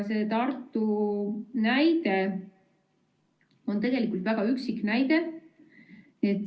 See Tartu näide on tegelikult väga üksik näide.